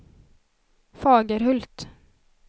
Fagerhult